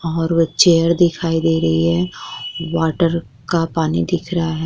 और वो चेयर दिखाई दे रही है वाटर का पानी दिख रहा है।